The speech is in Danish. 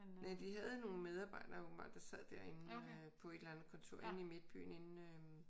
Næh de havde nogle medarbejdere åbenbart der sad derinde øh på et eller andet kontor inde i midtbyen inde øh